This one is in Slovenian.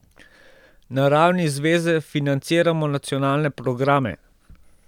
Na ravni zveze financiramo nacionalne programe.